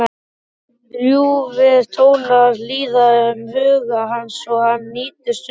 Ljúfir tónar líða um huga hans og hann nýtur stundarinnar.